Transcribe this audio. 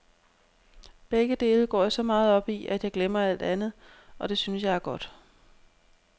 Begge dele går jeg så meget op i, at jeg glemmer alt andet, og det synes jeg er godt.